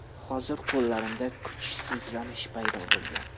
Hozir qo‘llarimda kuchsizlanish paydo bo‘lgan.